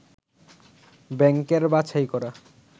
ব্যাংকের বাছাই করা